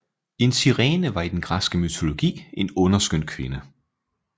En sirene var i den græske mytologi en underskøn kvinde